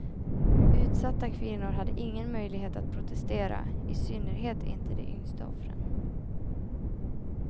Utsatta kvinnor hade ingen möjlighet att protestera, i synnerhet inte de yngsta offren.